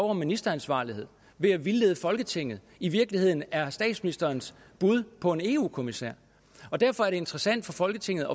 om ministeransvarlighed ved at vildlede folketinget i virkeligheden er statsministerens bud på en eu kommissær derfor er det interessant for folketinget